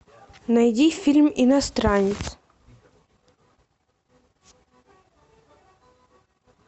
найди фильм иностранец